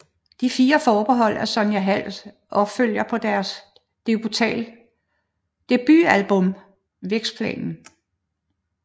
De Fire Forbehold er Sonja Halds opfølger på deres debutalbum Vækstplanen